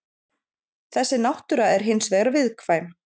Þessi náttúra er hins vegar viðkvæm.